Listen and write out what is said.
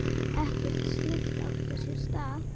Ekkert slíkt átti sér stað.